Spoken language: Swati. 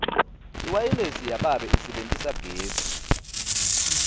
iwayilesi yababe isebentisa gesi